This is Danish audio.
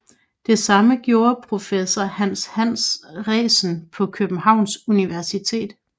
Det samme gjorde professor Hans Hansen Resen på Københavns Universitet